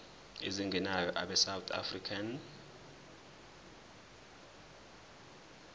ezingenayo abesouth african